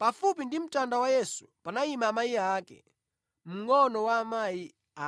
Pafupi ndi mtanda wa Yesu panayima amayi ake, mngʼono wa amayi